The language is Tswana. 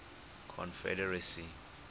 confederacy